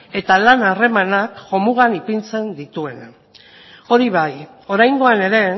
eta lan harremanak jomugan ipintzen dituena hori bai oraingoan ere